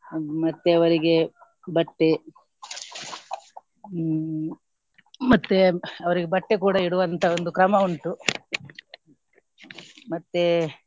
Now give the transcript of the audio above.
ಹ್ಮ್ ಮತ್ತೆ ಅವರಿಗೆ ಬಟ್ಟೆ ಹ್ಮ್ ಮತ್ತೆ ಅವ್ರಿಗೆ ಬಟ್ಟೆ ಕೂಡ ಇಡುವಂತಹ ಒಂದು ಕ್ರಮ ಉಂಟು ಮತ್ತೆ.